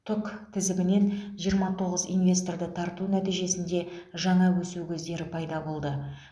тұк тізімінен жиырма тоғыз инвесторды тарту нәтижесінде жаңа өсу көздері пайда болды